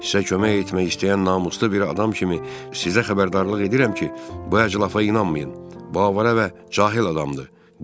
Sizə kömək etmək istəyən namuslu bir adam kimi sizə xəbərdarlıq edirəm ki, bu əclafa inanmayın, bu avara və cahil adamdır.